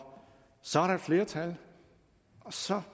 så er der et flertal og så